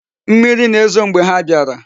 Mmiri na-ezo mgbe ha biara.